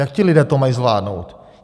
Jak ti lidé to mají zvládnout?